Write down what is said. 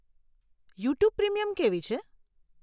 YouTube premium કેવી છે?